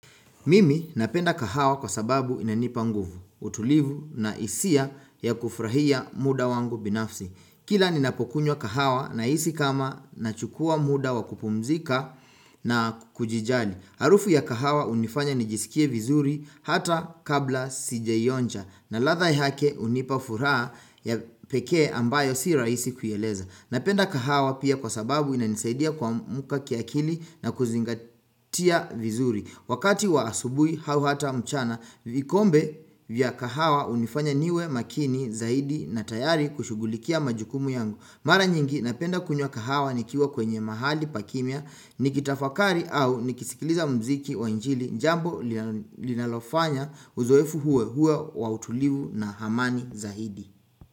Mimi napenda kahawa kwa sababu inanipa nguvu, utulivu na hisia ya kufurahia muda wangu binafsi. Kila ninapokunywa kahawa na hisi kama nachukua muda wa kupumzika na kujijali. Harufu ya kahawa hunifanya nijisikie vizuri hata kabla sijaioja na ladha ya yake hunipa furaha ya pekee ambayo si rahisi kueleza. Napenda kahawa pia kwa sababu inanisaidia kuamuka kiakili na kuzingatia vizuri. Wakati wa asubuhi hau hata mchana vikombe vya kahawa hunifanya niwe makini zaidi na tayari kushugulikia majukumu yangu. Mara nyingi napenda kunywa kahawa nikiwa kwenye mahali pakimia nikitafakari au nikisikiliza mziki wa injili jambo linalofanya uzoefu huo uwe wa utulivu na amani zaidi.